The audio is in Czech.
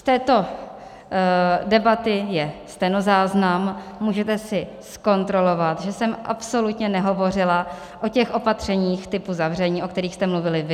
Z této debaty je stenozáznam, můžete si zkontrolovat, že jsem absolutně nehovořila o těch opatřeních typu zavření, o kterých jste mluvili vy.